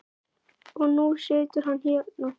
Og nú situr hann hérna.